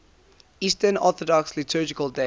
eastern orthodox liturgical days